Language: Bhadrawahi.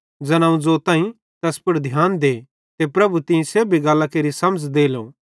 ज़ैन अवं ज़ोताईं तैस पुड़ ध्यान दे ते प्रभु तीं सेब्भी गल्लां केरि समझ़ देलो